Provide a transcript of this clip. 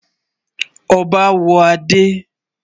Ọbá á wọ̀ adé.